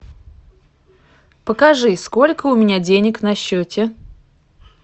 покажи сколько у меня денег на счете